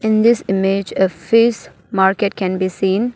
In this image a fish market can be seen.